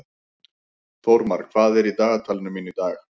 Þórmar, hvað er í dagatalinu mínu í dag?